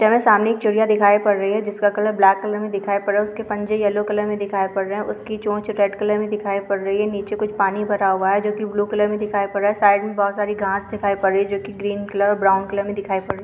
यहाँ सामने एक चिड़िया दिखाई पड़ रही हैं जिसका कलर ब्लैक कलर में दिखाई पड़ रही है उसके पंजे येल्लो कलर दिखाई पड़ रहे हैं उसकी चोंच रेड कलर में दिखाई पड़ रही हैं नीचे कुछ पानी भरा हुआ हैं जो की ब्लू कलर में दिखाई पड़ रहा है साइड में बहुत सारी घाँस दिखाई पड़ रही हैं जो ग्रीन कलर और ब्राउन कलर में दिखाई पढ़ रही हैं।